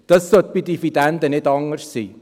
Dies sollte bei Dividenden nicht anders sein.